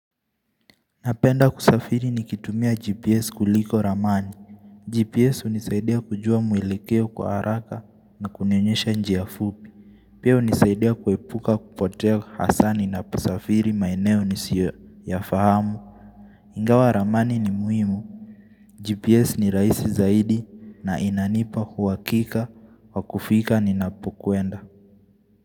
Napenda kusafiri ni kitumia GPS kuliko ramani. GPS hunisaidia kujua mwelekeo kwa haraka na kunioyonyesha njia fupi. Pia hunisaidia kuepuka kupotea hasa ninapo safiri maeneo nisiyo yafahamu. Ingawa ramani ni muhimu. GPS ni rahisi zaidi na inanipa uhakika kwa kufika ninapo kuenda.